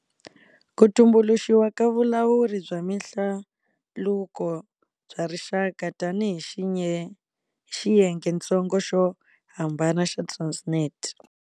Ku tumbuluxiwa ka Vulawuri bya Mihlaluko bya Rixaka tanihi xiyengentsongo xo hambana xa Transnet.